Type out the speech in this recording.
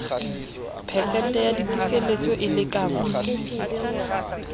phesente ya dipuseletso e lekanngwa